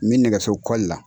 N bɛ nɛgɛso la.